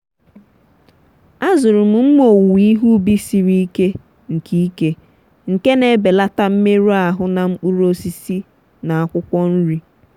azụrụ m mma owuwe ihe ubi siri ike nke ike nke na-ebelata mmerụ ahụ na mkpụrụ osisi na akwụkwọ nri.